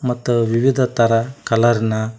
ಮತ್ತು ವಿವಿಧ ತರಹ ಕಲರ್ನ್ .